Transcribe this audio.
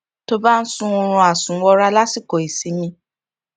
tó bá ń sun oorun àsùnwọra lásìkò ìsinmi